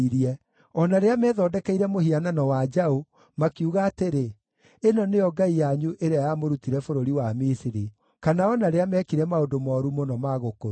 o na rĩrĩa methondekeire mũhianano wa njaũ, makiuga atĩrĩ, ‘Ĩno nĩyo ngai yanyu ĩrĩa yamũrutire bũrũri wa Misiri,’ kana o na rĩrĩa meekire maũndũ mooru mũno ma gũkũruma.